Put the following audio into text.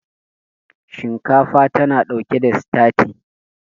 shinkafa tana ɗauke da stati